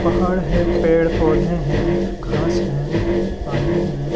पहाड़ है पेड़ -पौधे है घास है पानी हैं।